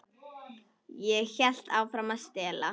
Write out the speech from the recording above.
Ég hélt áfram að stela.